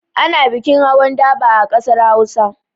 Ana bikin hawan daba a ƙasar Hausa.